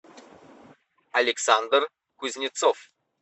александр кузнецов